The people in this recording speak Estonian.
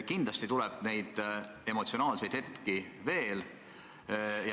Kindlasti tuleb neid emotsionaalseid hetki veel.